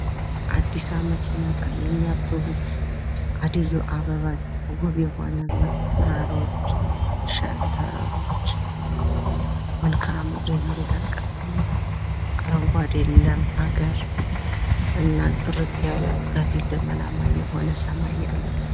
አዲስ ዓመት ሲመጣ የምያብቡት ዓደይ አበባ ዉብ የሆነ እና ተራራዎች ሸንተረሮች መልክአምድር የመሬት አቀማመጥ አረንጕዴ ለም ሀገር እና ጥርት ያለ ደመናማ የሆነ ሰማይ ያለው ነው::